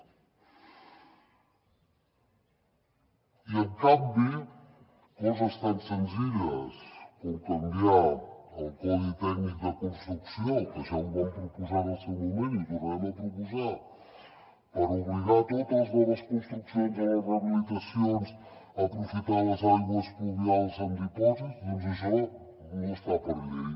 i en canvi coses tan senzilles com canviar el codi tècnic de construcció que ja ho vam proposar en el seu moment i ho tornarem a proposar per obligar totes les noves construccions a les rehabilitacions a aprofitar les aigües pluvials en dipòsit doncs això no està per llei